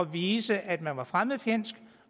vise at man var fremmedfjendsk